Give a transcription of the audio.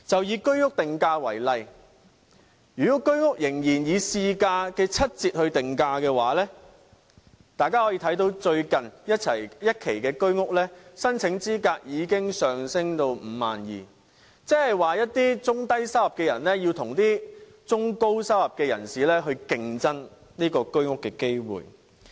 以居屋定價為例，如果居屋仍然以市價的七折來定價，大家可以看到最新一期居屋的申請資格已經上升至 52,000 元，即是一些中低收入人士要與中高收入人士競爭購買居屋的機會。